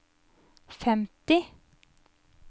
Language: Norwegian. femti